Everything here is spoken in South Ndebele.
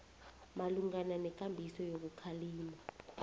malungana nekambiso yokukhalima